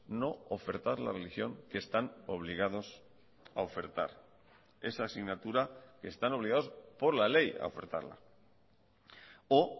no ofertar la religión que están obligados a ofertar esa asignatura que están obligados por la ley a ofertarla o